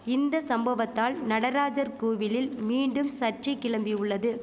இந்த சம்பவத்தால் நடராஜர் கோவிலில் மீண்டும் சர்ச்சை கிளம்பியுள்ளது